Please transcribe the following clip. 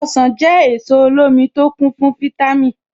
Ọ̀sán jẹ́ èso olómi tó kún fún fítámì.